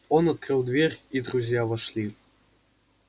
он открыл дверь и друзья вошли